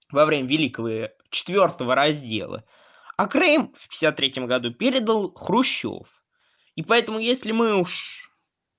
во время великого четвёртого раздела а крым в пятьдесят третьем году передал хрущёв и поэтому если мы уж